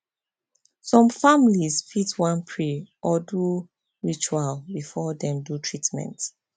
some families fit wan pray or do ritual before dem do treatment